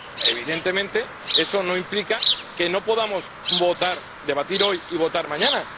Evidentemente, eso no implica que no podamos debatir hoy y votar mañana.